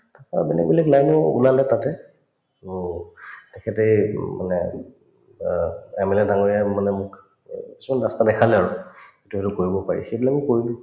তাৰপৰা মানে বেলেগ line ও ওলালে তাতে to তেখেতে এইটো মানে অ MLA ডাঙৰীয়াই মানে মোক এ কিছুমান ৰাস্তা দেখালে আৰু to এইটো কৰিব পাৰি সেইবিলাকো কৰিলো